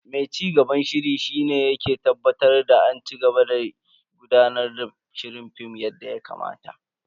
Mai cigaban shiri shi ne yake tabbatar da an cigaba da gudanar da shirin Film yadda ya kamata.